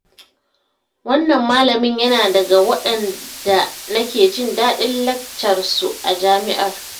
Wannan malamin yana daga waɗaanda nake jin daɗin laccarsu a jami'ar